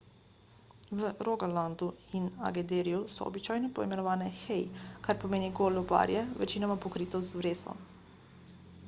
v rogalandu in agderju so običajno poimenovane hei kar pomeni golo barje večinoma pokrito z vreso